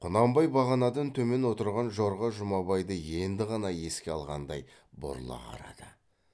құнанбай бағанадан төмен отырған жорға жұмабайды енді ғана еске алғандай бұрыла қарады